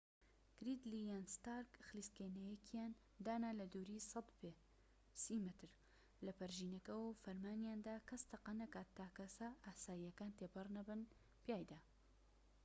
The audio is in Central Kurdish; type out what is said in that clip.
گریدلی یان ستارک خلیسکێنەیەکیان دانا لە دووری ١٠٠ پێ ٣٠ مەتر لە پەرژینەکەوە و فەرمانیاندا کەس تەقە نەکات تا کەسە ئاساییەکان تێنەپەڕن پیایدا